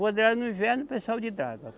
Quando era no inverno, o pessoal de draga.